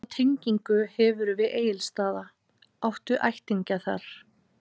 Hvaða tengingu hefurðu við Egilsstaða, áttu ættingja þar?